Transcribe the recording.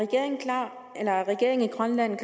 lande